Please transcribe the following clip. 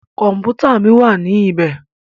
Kọ̀mpútà mí wá ní ibẹ̀.